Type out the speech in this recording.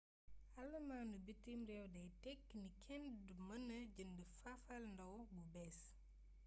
allamaanu bitim réew day tekki ni kenn du mëna jënd fafalnaaw bu bées